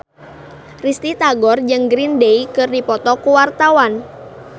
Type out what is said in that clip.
Risty Tagor jeung Green Day keur dipoto ku wartawan